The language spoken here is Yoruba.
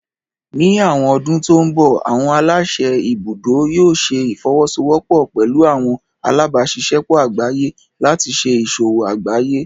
Ní àwọn ọdún tó ń bọ̀, àwọn aláṣẹ ibùdó yóò ṣẹ ìfọwọ́sọwọ́pọ̀ pẹlú àwọn alábáṣiṣẹ́pọ̀ àgbáyé láti ṣé ìṣòwò àgbáyé